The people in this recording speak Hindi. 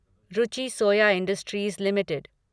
Ruchi soya industries limited